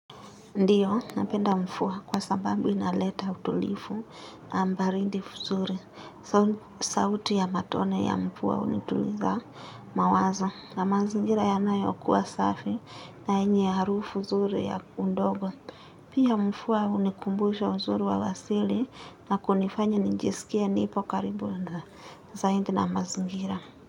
Ndiyo napenda mvua kwa sababu inaleta utulifu ama baridi fuzuri sauti ya matone ya mvua unituliza mawazo na mazingira yanayokuwa safi na yenye harufu zuri ya undogo pia mvua unikumbusha uzuri wa wasili na kunifanya nijiskie nipo karibu na zaidi na mazingira.